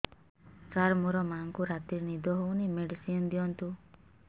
ସାର ମୋର ମାଆଙ୍କୁ ରାତିରେ ନିଦ ହଉନି ମେଡିସିନ ଦିଅନ୍ତୁ